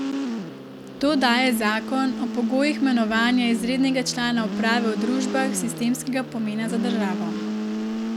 To daje zakon o pogojih imenovanja izrednega člana uprave v družbah sistemskega pomena za državo.